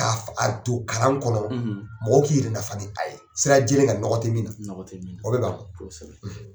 Ka a don kalan kɔnɔ mɔgɔ k'i yɛrɛ nafa ni a ye sira jɛlen kan, nɔgɔ tɛ min na, nɔgɔ tɛ min na, o de kosɛbɛ, .